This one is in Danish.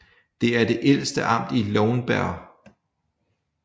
Det er det ældste amt i Lauenburg